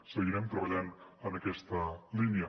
seguirem treballant en aquesta línia